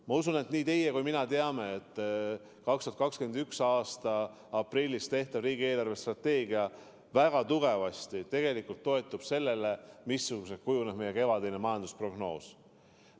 Ma usun, et nii teie kui ka mina teame, et 2021. aasta aprillis tehtav riigi eelarvestrateegia toetub väga tugevasti tegelikult sellele, missuguseks kujuneb meie kevadine majandusprognoos.